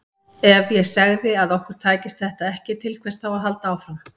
Ef ég segði að okkur tækist þetta ekki, til hvers þá að halda áfram?